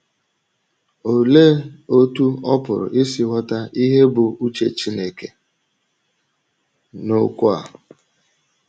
Olee otú ọ pụrụ isi ghọta ihe bụ́ uche Chineke n’okwu a?